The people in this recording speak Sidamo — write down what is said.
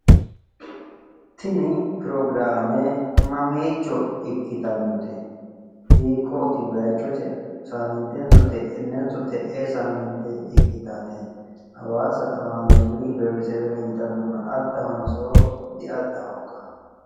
Tini pirogiraame mamiicho ikkitannote? Hiikkoti bayichose saamintenso te'ennenso te'ee saamiinte ikkitaate? Hawaasa haameeli beetisewera yitaannona addahonsoo diaddaho ikka?